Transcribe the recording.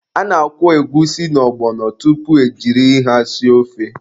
A na-akwọ egwusi na ọgbọnọ tupu e jiri ha sie ofe.